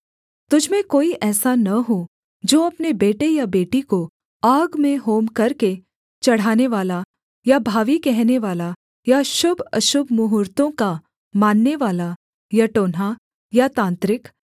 तुझ में कोई ऐसा न हो जो अपने बेटे या बेटी को आग में होम करके चढ़ानेवाला या भावी कहनेवाला या शुभअशुभ मुहूर्त्तों का माननेवाला या टोन्हा या तांत्रिक